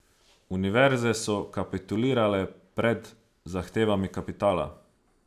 Univerze so kapitulirale pred zahtevami kapitala.